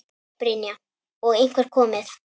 Brynja: Og einhver komið?